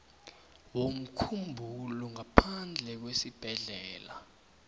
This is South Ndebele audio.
womkhumbulo ngaphandle kwesibhedlela